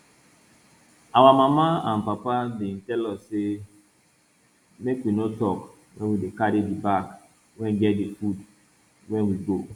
our mama and papa bin tell us say make we no talk when we dey carry the bag wey get the food wey we go